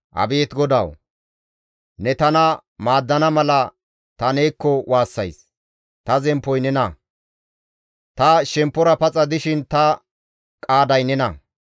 Abeet GODAWU! Ne tana maaddana mala ta neekko waassays; ta zemppoy nena; ta shemppora paxa dishin ta qaaday nena.